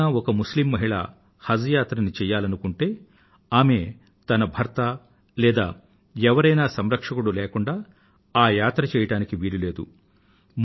ఎవరైనా ఒక ముస్లిమ్ మహిళ హజ్ యాత్రను చెయ్యాలనుకుంటే ఆమె ఒక మెహ్ రమ్ లేదా ఒక సంరక్షకుడు లేకుండా ఆమె ఆ యాత్రను చెయ్యడానికి వీలు లేదు